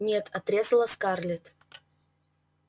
нет отрезала скарлетт